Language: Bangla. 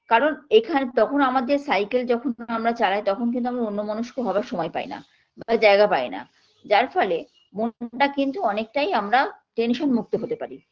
কারণ এখানে তখন আমাদের cycle যখন আমরা চালাই তখন কিন্তু আমরা অন্যমনস্ক সময় পাইনা বা জায়গা পাইনা যার ফলে মনটা কিন্তু অনেকটাই আমরা tension মুক্ত হতে পারি